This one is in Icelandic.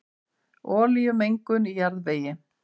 Olíumengun í jarðvegi